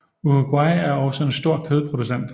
Uruguay er også en stor kødproducent